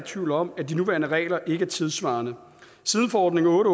tvivl om at de nuværende regler ikke er tidssvarende siden forordning otte